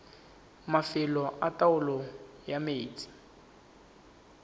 mafelo a taolo ya metsi